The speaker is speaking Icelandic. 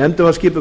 nefndin var skipuð